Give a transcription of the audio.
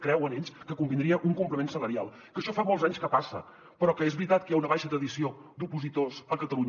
creuen ells que convindria un complement salarial que això fa molts anys que passa però que és veritat que hi ha una baixa tradició d’opositors a catalunya